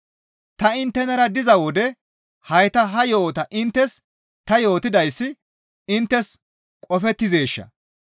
Ta inttenara diza wode hayta ha yo7ota inttes ta yootidayssi inttes qofettizeesha?